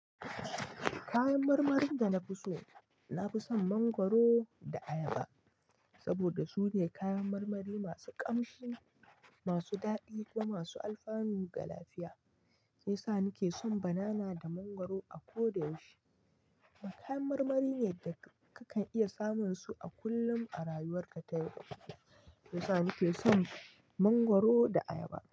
Kayan marmarin da na fi so, na fi son mangwaro da ayaba. Saboda su ne kayan marmari masu ƙamshi, masu daɗi kumamasu alfanu ga lafiya. Sai sa ni ke son banana da mangwaro a ko da yaushe. Kayan marmari ne da kakan iya samun su a kullum a rayuwar ka ta yau. Sai sa ni ke son mangwaro da ayaba.